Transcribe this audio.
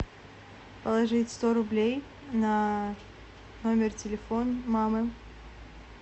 положить сто рублей на номер телефона мамы